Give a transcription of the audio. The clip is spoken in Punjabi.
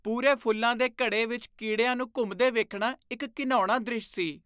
ਪੂਰੇ ਫੁੱਲਾਂ ਦੇ ਘੜੇ ਵਿੱਚ ਕੀੜਿਆਂ ਨੂੰ ਘੁੰਮਦੇ ਵੇਖਣਾ ਇੱਕ ਘਿਣਾਉਣਾ ਦ੍ਰਿਸ਼ ਸੀ।